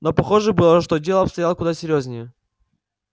но похоже было что дело обстояло куда серьёзнее